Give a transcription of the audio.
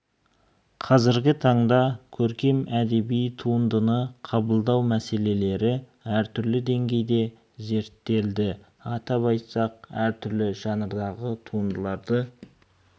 қазіргі таңда көркем әдеби туындыны қабылдау мәселелері әртүрлі деңгейде зерттелді атап айтсақ әр түрлі жанрдағы туындыларды